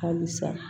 Halisa